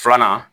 Filanan